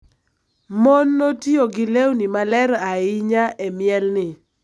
Mon notiyo gi lewni maler ahinya e mielni,